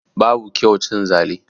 Babu kyau cin zali